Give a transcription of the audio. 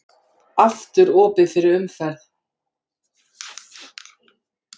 Aftur opið fyrir umferð